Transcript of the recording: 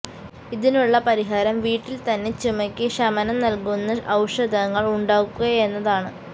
ഇതിനുള്ള പരിഹാരം വീട്ടില് തന്നെ ചുമക്ക് ശമനം നല്കുന്ന ഔഷധങ്ങള് ഉണ്ടാക്കുകയെന്നതാണ്